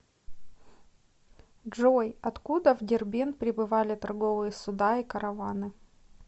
джой откуда в дербент прибывали торговые суда и караваны